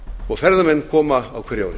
og ferðamenn koma á hverju